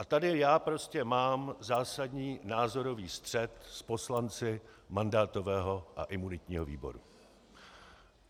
A tady já prostě mám zásadní názorový střet s poslanci mandátového a imunitního výboru.